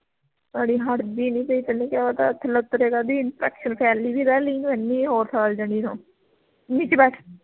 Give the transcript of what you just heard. ਅੜੀਏ ਹੱਟ ਦੀ ਨੀ ਪਈ ਤੈਂਨੂੰ ਕਿਆ ਪਤਾ ਥੱਲੇ ਉਤਰਿਆ ਕਰਦੀ infection ਫੈਲੀ ਵੀ ਰਹਿਲੀ ਇਹਨੂੰ ਨੀਚੇ ਬੈਠ